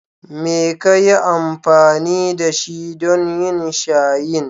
Me ka yi amfani da shi don yin shayin?